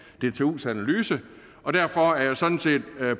dtus analyse og derfor er jeg sådan set